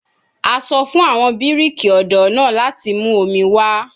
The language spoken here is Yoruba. A sọ fun awọn biriki ọdọ naa lati mu omi wa